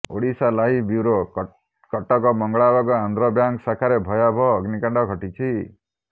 Odisha live bureau Cuttack Mangalabag Andhra bank ଶାଖାରେ ଭୟାବହ ଅଗ୍ନିକାଣ୍ଡ ଘଟିଛି